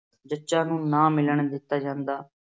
ਜੱਚਾ ਨੂੰ ਨਾ ਮਿਲਣ ਦਿੱਤਾ ਜਾਂਦਾ।